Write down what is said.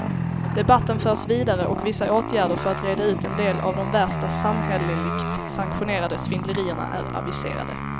Debatten förs vidare och vissa åtgärder för att reda ut en del av de värsta samhälleligt sanktionerade svindlerierna är aviserade.